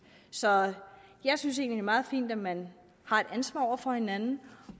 så jeg synes egentlig meget fint at man har et ansvar over for hinanden